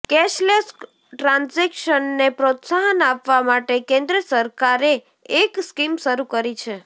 cashless ટ્રાન્ઝેક્શનને પ્રોત્સાહન આપવા માટે કેન્દ્ર સરકારે એક સ્કીમ શરૂ કરી છે